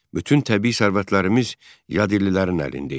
Bütün təbii sərvətlərimiz yadellilərin əlində idi.